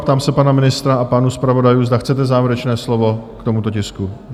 Ptám se pana ministra a pánů zpravodajů, zda chcete závěrečné slovo k tomuto tisku?